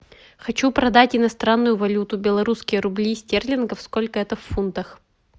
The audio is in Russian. хочу продать иностранную валюту белорусские рубли стерлингов сколько это в фунтах